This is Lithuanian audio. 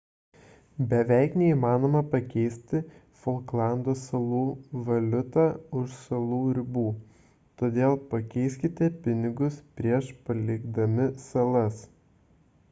beveik neįmanoma pakeisti folklando salų valiutą už salų ribų todėl pakeiskite pinigus prieš palikdami salas